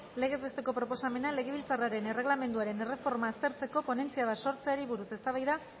legez besteko proposamena legebiltzarraren erregelamenduaren erreforma aztertzeko ponentzia bat sortzeari buruz eztabaida